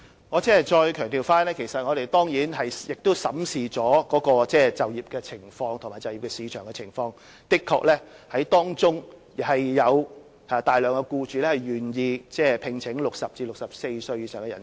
我再次強調，我們當然審視了他們的就業情況和就業市場的情況，的確有大量僱主願意聘請60歲至64歲以上的人士。